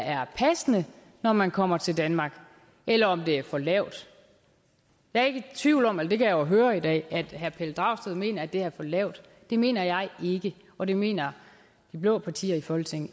er passende når man kommer til danmark eller om det er for lavt jeg er ikke i tvivl om eller det kan jo høre i dag at herre pelle dragsted mener at det er for lavt det mener jeg ikke og det mener de blå partier i folketinget